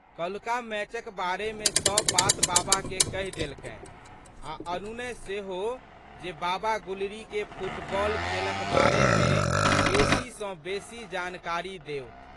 कल्हुका मैचक बारेमे सब बात बाबाके कहि देलकनि आ' अनुनय सेहो जे बाबा गुलरीके फुटबॉल खेलक बारेमे बेशी सँ बेशी जानकारी देथु।